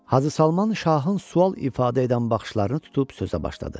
Hacı Salman şahın sual ifadə edən baxışlarını tutub sözə başladı.